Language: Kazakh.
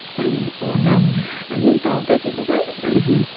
яғни оларды і менталды дейді ғой бәрі мхм